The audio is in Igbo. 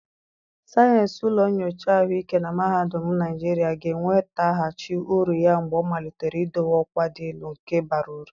Sayensị ụlọ nyocha ahụike na mahadum Naijiria ga-enwetaghachi uru ya mgbe ọ malitere idowe ọkwa dị elu nke bara uru.